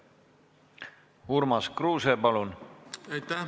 Urmas Kruuse, palun!